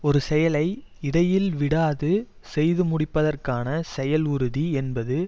ஒரு செயலை இடையில் விடாது செய்து முடிப்பதற்கான செயல் உறுதி என்பது